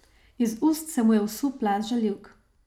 Iz ust se mu je vsul plaz žaljivk.